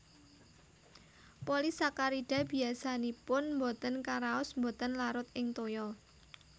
Polisakarida biasanipun botén karaos botén larut ing toya